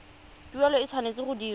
tuelo e tshwanetse go dirwa